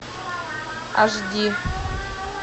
аш ди